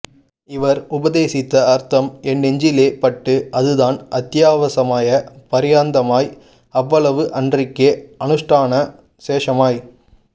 இவர் உபதேசித்த அர்த்தம் என் நெஞ்சிலே பட்டு அது தான் அத்யவசாய பர்யந்தமாய் அவ்வளவு அன்றிக்கே அனுஷ்டான சேஷமாய்